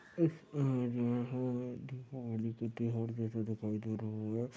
इस इमेज मे हमे दीपावली के त्योहार जैसा दिखाई दे रहा है।